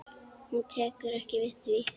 Hún tekur ekki við því.